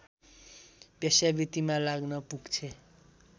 वेश्यावृत्तिमा लाग्न पुग्छे